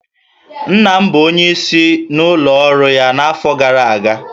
Nna m bụ onyeisi n'ụlọ ọrụ ya n'afọ gara aga